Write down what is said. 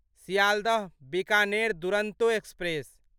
Sealdah Bikaner Duronto express